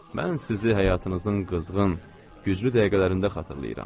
Mən sizi həyatınızın qızğın, güclü dəqiqələrində xatırlayıram.